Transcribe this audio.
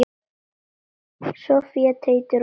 Soffía, Teitur og Embla.